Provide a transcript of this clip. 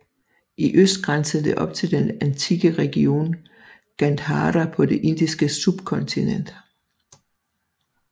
I øst grænsede det op til den antikke region Gandhara på det Indiske subkontinent